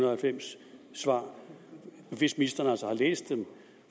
og halvfems svar hvis ministeren altså har læst dem